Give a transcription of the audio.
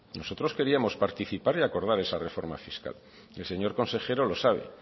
nosotros queríamos participar y acordar esa reforma fiscal y el señor consejero lo sabe